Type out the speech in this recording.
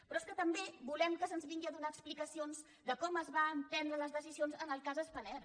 però és que també volem que se’ns vinguin a donar explicacions de com es van prendre les decisions en el cas spanair